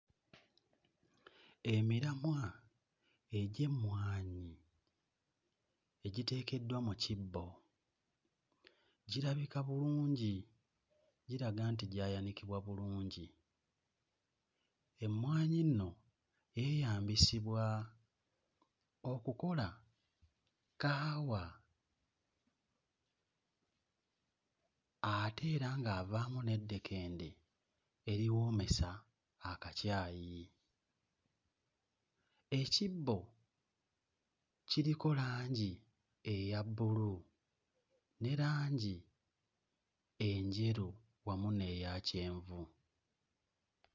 Emiramwa egy'emmwanyi egiteekeddwa mu kibbo, girabika bulungi, giraga nti gyaywanikbwa bulungi, emmwanyi nno yeeyambisibwa okukola kaawa ate era ng'avaamu n'eddekende eriwoomesa akacayi, ekibbo kiriko langi eyabbulu ne langi enjeru wamu n'eya kyenvu.